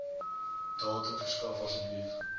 datum verskaf asseblief